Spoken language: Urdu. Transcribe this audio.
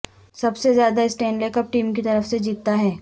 سب سے زیادہ اسٹینلے کپ ٹیم کی طرف سے جیتتا ہے